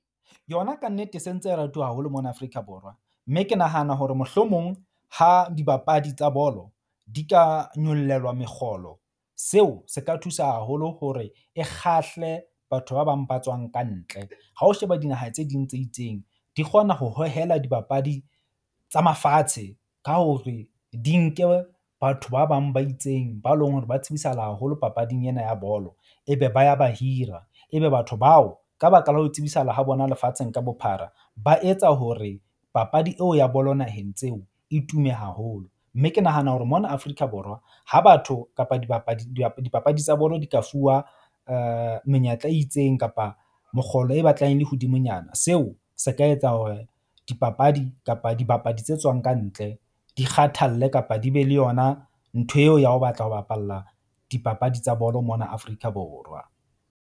Yona kannete se ntse e ratuwa haholo mona Afrika Borwa. Mme ke nahana hore mohlomong ha dibapadi tsa bolo di ka nyollelwa mekgolo, seo se ka thusa haholo hore e kgahle batho ba bang ba tswang ka ntle. Ha o sheba dinaha tse ding tse itseng di kgona ho hohela dibapadi tsa mafatshe ka hore di nke, batho ba bang ba itseng ba leng hore ba tsebisahala haholo papading ena ya bolo ebe ba ya ba hira. Ebe batho bao ka baka la ho tsebisahala ha bona lefatsheng ka bophara, ba etsa hore papadi eo ya bolo naheng tseo e tume haholo. Mme ke nahana hore mona Afrika Borwa ha batho kapa dibapadi tsa bolo di ka fuwa menyetla e itseng kapa mokgolo e batlang le hodimonyana. Seo se ka etsa hore dipapadi kapa dibapadi tse tswang ka ntle di kgathalle kapa di be le yona ntho eo ya ho batla ho bapalla dipapadi tsa bolo mona Afrika Borwa.